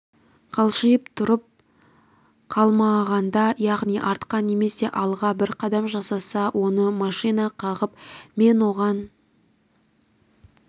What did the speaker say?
қалшиып тұрып қалмағанда яғни артқа немесе алға бір қадам жасаса оны машина қағып мен оған